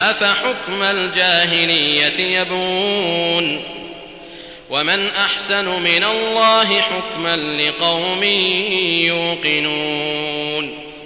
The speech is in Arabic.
أَفَحُكْمَ الْجَاهِلِيَّةِ يَبْغُونَ ۚ وَمَنْ أَحْسَنُ مِنَ اللَّهِ حُكْمًا لِّقَوْمٍ يُوقِنُونَ